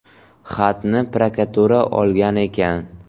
Xatni prokuratura olgan ekan.